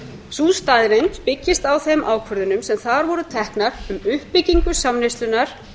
sú staðreynd byggist á þeim ákvörðunum sem þar voru teknar um uppbyggingu samneyslunnar